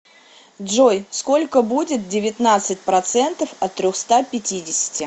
джой сколько будет девятнадцать процентов от трехста пятидесяти